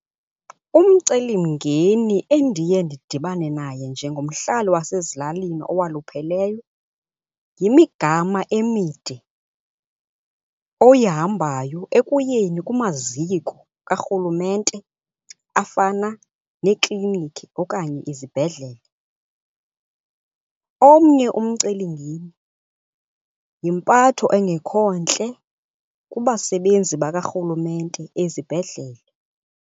Umcelimngeni endiye ndidibane naye njengomhlali wasezilalini owalupheleyo yimigama emide oyihambayo ekuyeni kumaziko kaRhulumente afana neeklinikhi okanye izibhedlele. Omnye umcelimngeni yimpatho engekho ntle kubasebenzi bakaRhulumente ezibhedlele.